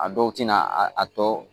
A dɔw tɛna a a tɔ